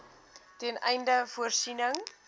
ten einde voorsiening